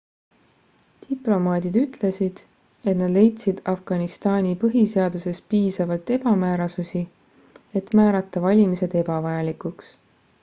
diplomaadid ütlesid et nad leidsid afganistani põhiseaduses piisavalt ebamäärasusi et määrata valimised ebavajalikuks